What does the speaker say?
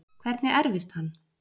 Hvernig erfist hann?